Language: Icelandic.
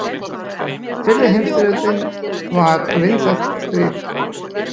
Fyrri heimsstyrjöldin var vinsælt stríð.